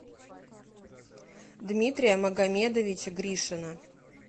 дмитрия магомедовича гришина